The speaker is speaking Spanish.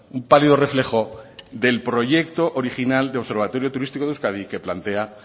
un pálido reflejo del proyecto original del observatorio turístico de euskadi que plantea